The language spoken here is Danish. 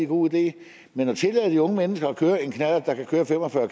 god idé men at tillade de unge mennesker at køre en knallert der kan køre fem og fyrre